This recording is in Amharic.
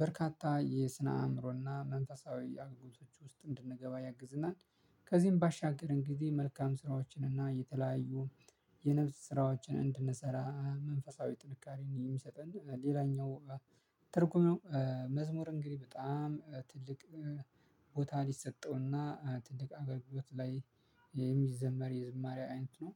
በርካታ የስነ አእምሮና መንፈሳዊ አገልጋዮች ውስጥ እንድንገባ ያግዝናል። ከዚህም ባሻገርን ጊዜ መልካም ስራዎችን እና የተለያዩ የነፍስ ስራዎችን እንድንሰራ መንፈሳዊ ጥንካሬን የሚሰጠን ሌላኛው ትርጉም ነው። መዝሙር እንግዲህ በጣም ትልቅ ቦታ ሊሰጠውና ትልቅ አገልግሎት ላይ የሚዘመር የዝማሬ አይነት ነው